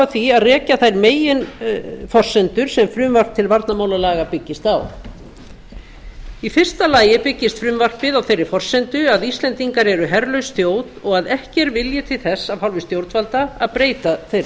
því að rekja þær meginforsendur sem frumvarp til varnarmálalaga byggist á í fyrsta lagi byggist frumvarpið á þeirri forsendu að íslendingar eru herlaus þjóð og ekki er vilji til þess af hálfu stjórnvalda að breyta þeirri